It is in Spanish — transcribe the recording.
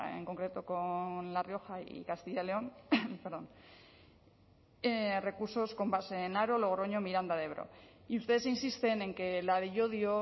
en concreto con la rioja y castilla león recursos con base en haro logroño miranda de ebro y ustedes insisten en que la de llodio